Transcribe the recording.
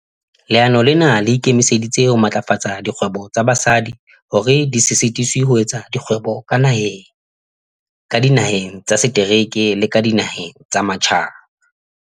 "Leano lena le ikemiseditse ho matlafatsa dikgwebo tsa basadi hore di se sitiswe ho etsa kgwebo ka naheng, ka dinaheng tsa setereke le ka dinaheng tsa matjhaba."